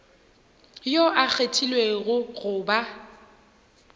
yo a kgethilwego go ba